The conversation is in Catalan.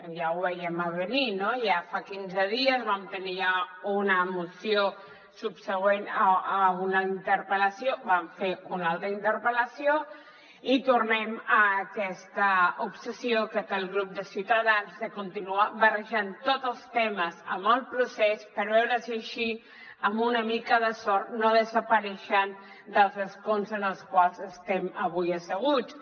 ja ho vèiem a venir ja fa quinze dies vam tenir una moció subsegüent a una interpel·lació vam fer una altra interpel·lació i tornem a aquesta obsessió que té el grup de ciutadans de continuar barrejant tots els temes amb el procés per veure si així amb una mica de sort no desapareixen dels escons en els quals estem avui asseguts